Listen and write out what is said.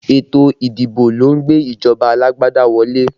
Ètò ìdìbò lọ ń gbé ìjọba alágbádá wọlé